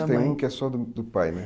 Mas tem um que é só do do pai, né?